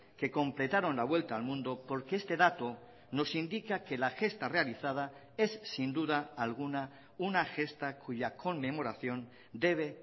que completaron la vuelta al mundo porque este dato nos indica que la gesta realizada es sin duda alguna una gesta cuya conmemoración debe